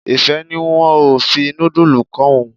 Ìfẹ́ ní wọn ò fi nudulu kó òun.